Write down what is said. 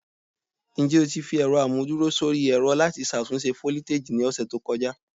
Njẹ o ti fi ẹrọ amuduro sori ẹrọ lati ṣatunṣe foliteji ni ọsẹ to kọja?